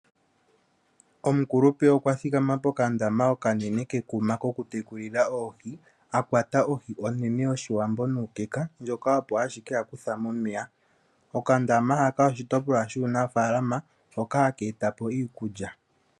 Omukulupe okwathikama pokandama kekuma koku tekulila oohi akwata ohi onene yoshiwambo nuukeka ndjoka opp ashike akutha momeya. Okandama haka oshitopolwa shuunafaalama hoka haka etapo iikulya.